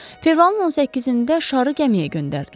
Fevralın 18-də şarı gəmiyə göndərdilər.